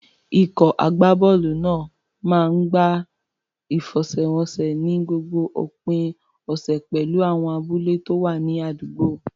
Ikọ̀ agbábọ́ọ̀lù náà máa ń gbá ìfẹsẹ̀wọnsẹ̀ ní gbogbo òpin ọ̀sẹ̀ pẹ̀lú àwọn abúlé tó wà ní àdúgbò.